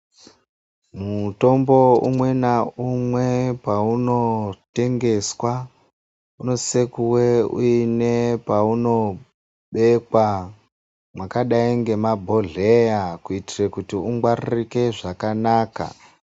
Mutombo umwe naumwe paunotengeswa unosisa kuve une paunobekwa mwakadai ngemabhodhleya kuitira kuti ungwaririke zvakanaka.